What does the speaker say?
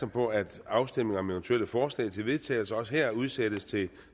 på at afstemning om eventuelle forslag til vedtagelse også her udsættes til